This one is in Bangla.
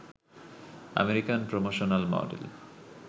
American promotional model